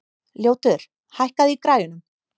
Ljótur, hækkaðu í græjunum.